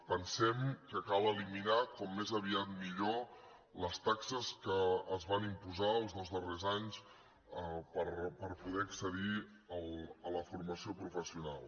pensem que cal eliminar com més aviat millor les taxes que es van imposar els dos darrers anys per poder accedir a la formació professional